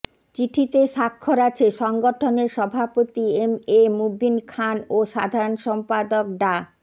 চিঠিতে স্বাক্ষর আছে সংগঠনের সভাপতি এম এ মুবিন খান ও সাধারণ সম্পাদক ডা